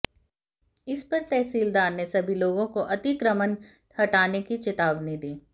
इस पर तहसीलदार ने सभी लोगों को अतिक्रमण हटाने की चेतावनी दी